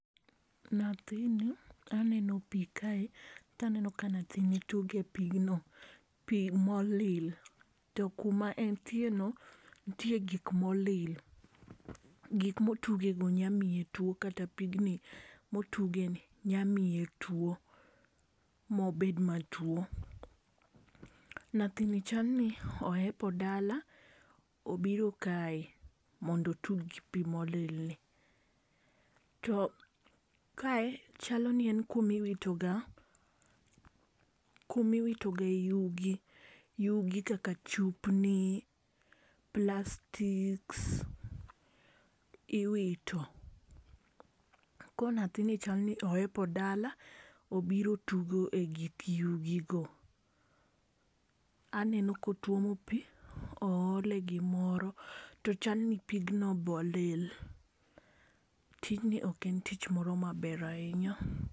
Nathini aneno pi kae taneno ka nathini tuge pigno, pi molil. To kuma entie no, nitie gik molil. Gik motuge go nyamiye tuo kata pigni motuge ni nyamiye tuo mobed matuo. Nathini chal ni ohepo dala obiro kae mondo otug gi pi molilni. To kae chal ni en kumiwitoga, kumiwitogae yugi. Yugi kaka chupni, plastics, iwito. Ko nathini chalni ohepo dala obiro tugo e gik yugi go. Aneno ka otuomo pi, oole gimoro, to chalni pigno bolil. Tijni ok en tich moro maber ahinya.